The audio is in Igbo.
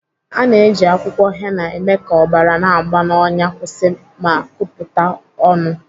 Ana eji akwụkwọ henna eme ka ọbara na-agba n'ọnyà kwụsị ma kpụkata ọnụ.